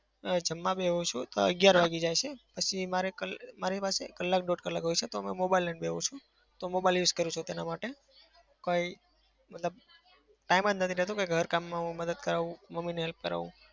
જમવા બેસું છું તો અગિયાર વાગી જાય છે. પછી મારે કલ મારી પાસે કલાક દોઢ કલાક હોય છે. તો હું mobile લઇને બેસું છું તો mobile use કરું છું તેના માટે. કંઈ મતલબ time જ નથી રહેતો કે ઘર કામમાં હું મદદ કરાવું મમ્મીને help કરાવું.